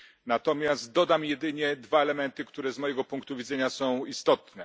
Natomiast dodam jedynie dwa elementy, które z mojego punktu widzenia są istotne.